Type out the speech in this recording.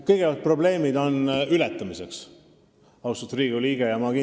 Kõigepealt, probleemid on ületamiseks, austatud Riigikogu liige!